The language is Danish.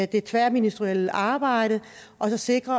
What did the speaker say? det tværministerielle arbejde og se på